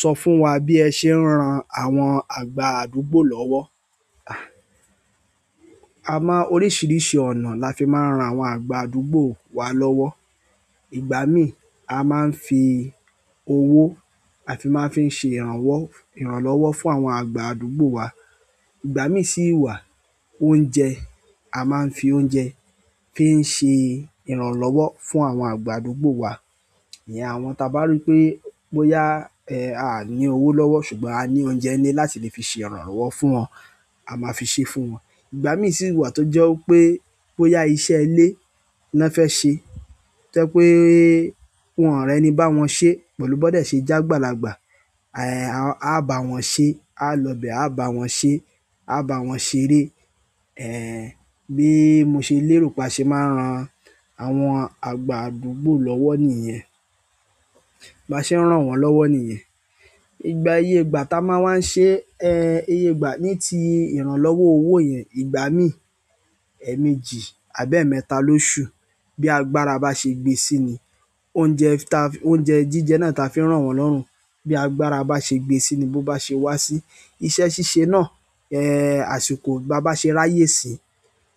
Sọ fún wa bí ẹ ṣe ń ran àwọn àgbà àdúgbò lọ́wọ́. A mọ oríṣiríṣi ọ̀nà la fi máa ń ran àwọn àgbà àdúgbò wa lọ́wọ́. Ìgbà mí a máa ń fi owó, a fi máa ń fi ṣe ìrànwọ́-- ìrànlọ́wọ́ fún àwọn àgbà àdúgbò wa. Ìgbà mí sì wà oúnjẹ, a máa ń fi oúnjẹ fi ń ṣe ìrànlọ́wọ́ fún àwọn àgbà àdúgbò wa. Ìyen àwọn ta bá rí pé bóyá, eeh, a ní owó lọ́wọ́ ṣùgbọ́n a ní oúnjẹ ní láti lè fi ṣe ìrànlọ́wọ́ fún wọn, a máa fi ṣe fún wọn. Igbami si wa to je wípé iṣẹ́ ile ni won fe se to je pe won o ri ẹni bawon se pẹ̀lú bon de se je àgbàlagbà. Eeh, a bá wọn ṣe, a lọ bẹ, a bá wọn ṣe, a bá wọn ṣeré. Eeh, bí mo ṣe lérò pa ṣe máa n ran àwọn àgbà àdúgbò lọ́wọ́ nìyen. Ba ṣe ran wọ́n lọ́wọ́ nìyen. Ìgbà iyé ìgbà tá a máa wa ń ṣe, eeh, iye ìgbà ní ti ìrànlọ́wọ́ owó yẹn, ìgbà mí èmejì àbí emẹ́ta ló ṣú. Bí agbára bá ṣe gbé sí i ni oúnjẹ ta-- oúnjẹ jíjẹ náà ta fi ń rán wọn lọ́run. Bí agbára bá ṣe gbé sí i ni bó bá ṣe wá sí iṣẹ́ ṣíṣe náà, eeh, àsìkò bá bá ṣe ráyè si,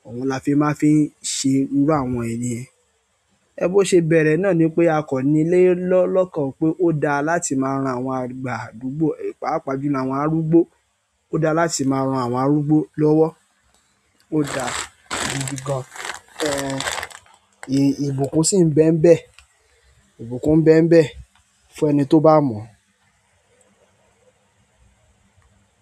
òun la fi máa ń fi ṣe irú àwọn ènìyàn. Ẹ̀ bo ṣé bẹ̀rẹ̀ náà ni pé a kọ́ni lé lọ́-- lọ́kàn pé ó da láti máa ran àwọn àgbà àdúgbò, pàápàá ju àwọn arúgbó. Ó da láti máa ran àwọn arúgbó lọ́wọ́. Oda gidi gan. Eeh, ìbùkún sì ń bẹ́mbẹ̀. Ìbùkún ń bẹ́mbẹ̀ fún ẹni tó bá mọ̀.